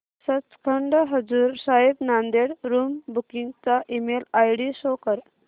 Sachkhand Hazur Sahib Nanded room booking चा email ID show कर